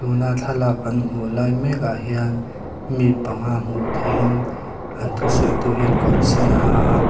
thlalak kan hmuh lai mek ah hian mi panga hmuh theih in an thu sawitu hian kawr sen a ha a.